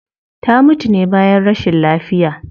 Ta mutu ne bayan rashin lafiya